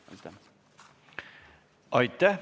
Aitäh!